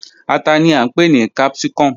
Ata ni a npe ni capsicum